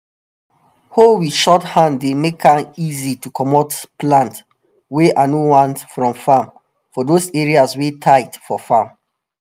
hoe wit short hand dey make an easy to comot plant wey i no want from farm for those area wey tight for farm